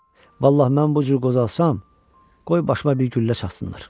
Vallahi mən bu cür qozalsam, qoy başıma bir güllə çatsınlar.